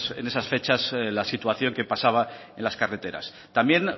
en esas fechas la situación que pasaba en las carreteras también